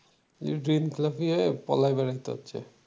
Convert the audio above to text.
ঋণ খেলাপি হয়ে পলায়ে বেড়াতে হচ্ছে।